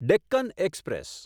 Deccan express